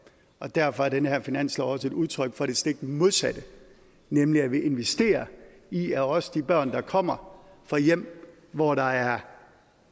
og derfor er den her finanslov også et udtryk for det stik modsatte nemlig at vi investerer i at også de børn der kommer fra hjem hvor der er